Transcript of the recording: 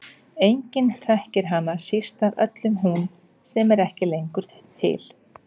Enginn þekkir hana, síst af öllum hún sem er ekki lengur til.